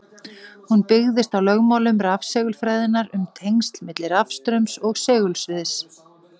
Hún byggist á lögmálum rafsegulfræðinnar um tengsl milli rafstraums og segulsviðs.